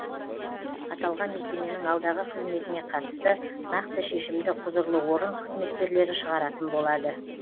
аталған мекеменің алдағы қызметіне қатысты нақты шешімді құзырлы орын қызметкерлері шығаратын болады